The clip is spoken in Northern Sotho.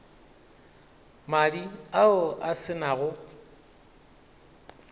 madi ao a se nago